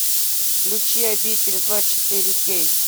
включи обитель зла четыре кей